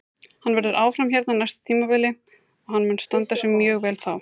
Hann verður áfram hérna á næsta tímabili og hann mun standa sig mjög vel þá.